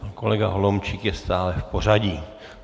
Pan kolega Holomčík je stále v pořadí.